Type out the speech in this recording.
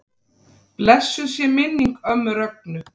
Blessuð sé minning ömmu Rögnu.